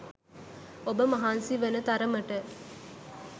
ඔබ මහන්සි වෙන තරමට